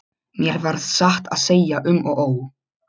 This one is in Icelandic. Mér varð satt að segja um og ó.